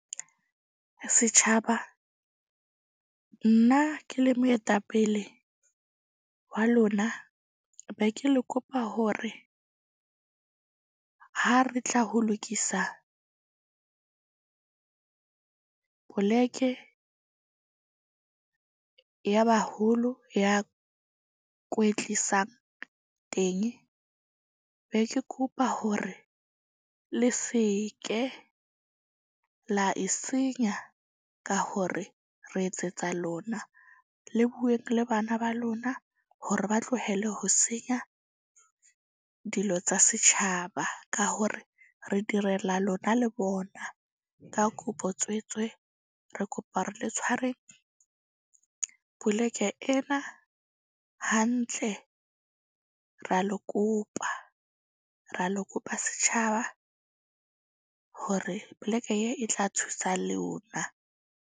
Setjhaba nna ke le moetapele wa lona be ke le kopa hore ha re tla ho lokisa poleke ya baholo ya kwetlisang teng, be ke kopa hore le seke la e senya. Ka hore re etsetsa lona le bueng le bana ba lona, ho re ba tlohele ho senya dilo tsa setjhaba ka hore re direla lona le bona. Ka kopo tswetswe. Re kopa re le tshwareng poleke ena hantle, ra lo kopa ra lo kopa setjhaba hore poleke e e tla thusa lona.